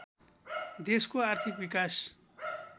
देशको आर्थिक विकास